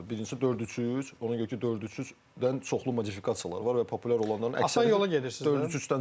Birincisi dörd üç üç, ona görə ki, dörd üç üçdən çoxlu modifikasiyalar var və populyar olanların əksəriyyəti dörd üç üçdən çıxır.